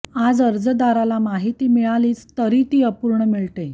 आज अर्जदाराला माहिती मिळालीच तरी ती अपूर्ण मिळते